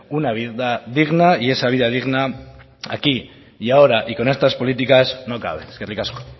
una vida digna y esa vida digna aquí y ahora y con estas políticas no cabe eskerrik asko